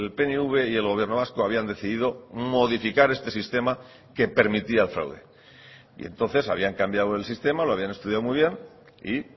pnv y el gobierno vasco habían decidido modificar este sistema que permitía el fraude y entonces habían cambiado el sistema lo habían estudiado muy bien y